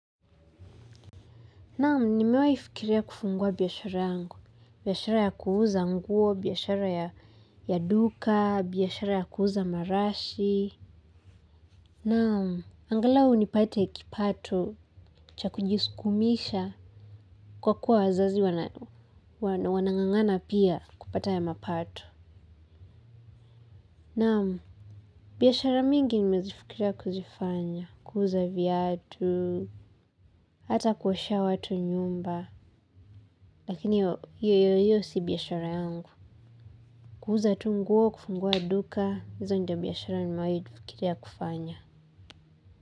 Naam, nimewai fikiria kufungua biashara yangu, biashara ya kuuza nguo, biashara ya duka, biashara ya kuuza marashi. Naam, angalau nipate kipato, cha kujisukumisha, kwa kuwa wazazi wanangangana pia kupata ya mapato. Naam, biashara mingi nimezifikiria kuzifanya, kuuza viatu, hata kuoshea watu nyumba, lakini hiyo hiyo si biashara yangu. Kuuza tu nguo, kufungua duka, hizo ndo biashara nimewai fikiria kufanya.